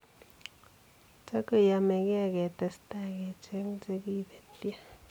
tagenyome getestai kecheng che kibetyo.